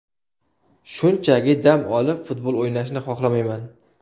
Shunchaki dam olib futbol o‘ynashni xohlamayman.